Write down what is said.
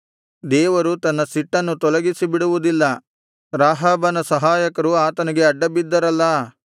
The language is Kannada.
ದೇವರು ತನ್ನ ಸಿಟ್ಟನ್ನು ತೊಲಗಿಸಿಬಿಡುವುದಿಲ್ಲ ರಾಹಾಬನ ಸಹಾಯಕರು ಆತನಿಗೆ ಅಡ್ಡಬಿದ್ದರಲ್ಲಾ